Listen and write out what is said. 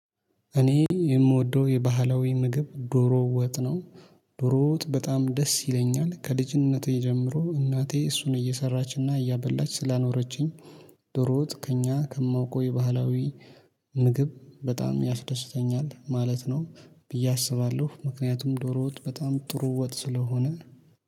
እኔ የምወደው የባህላዊ ምግብ ዶሮ ወጥ ነው። ዶሮ ወጥ በጣም ደስ ይለኛል ከልጅነቴ ጀምሮ እናቴ እሱን እየሰራችና እያበላች ስላኖረችኝ። ዶሮ ወጥ ከእኛ ከማውቀው የባህላዊ ምግብ በጣም ያስደስተኛል ማለት ነው። ብዬ አስባለሁ ምክንያቱም ዶሮ ወጥ በጣም ጥሩ ወጥ ስለሆነ